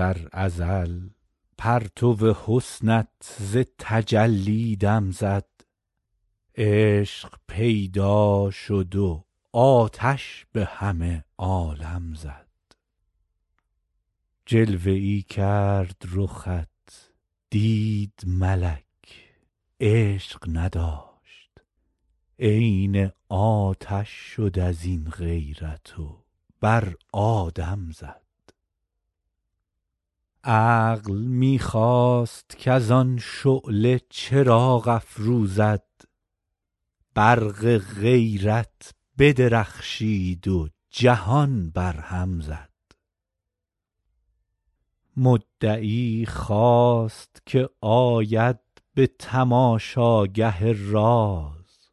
در ازل پرتو حسنت ز تجلی دم زد عشق پیدا شد و آتش به همه عالم زد جلوه ای کرد رخت دید ملک عشق نداشت عین آتش شد از این غیرت و بر آدم زد عقل می خواست کز آن شعله چراغ افروزد برق غیرت بدرخشید و جهان برهم زد مدعی خواست که آید به تماشاگه راز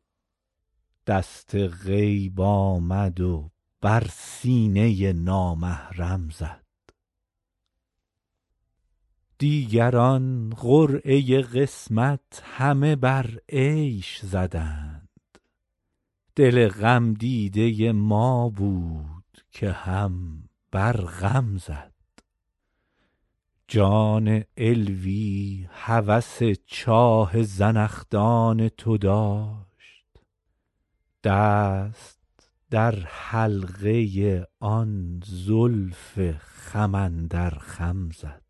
دست غیب آمد و بر سینه نامحرم زد دیگران قرعه قسمت همه بر عیش زدند دل غمدیده ما بود که هم بر غم زد جان علوی هوس چاه زنخدان تو داشت دست در حلقه آن زلف خم اندر خم زد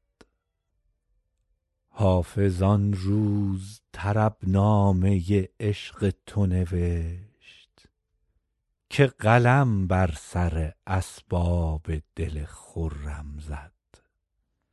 حافظ آن روز طربنامه عشق تو نوشت که قلم بر سر اسباب دل خرم زد